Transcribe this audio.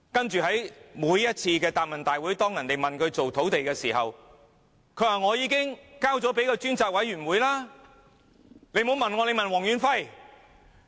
在每次答問會上，當議員問她如何處理土地問題時，她也說已經交由專責委員會處理，不要問她，問黃遠輝。